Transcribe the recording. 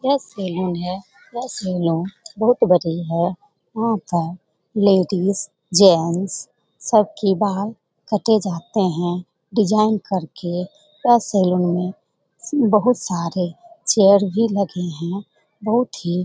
यह सेलुन है यह सैलून बहुत बड़ी है यहां पर लेडिज जेंट्स सब की बाल काटे जाते हैं डिजाइन करके यह सेलून में बहुत सारे चेयर भी लगे हैं बहुत ही --